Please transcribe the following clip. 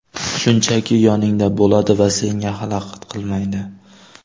Shunchaki yoningda bo‘ladi va senga xalaqit qilmaydi”.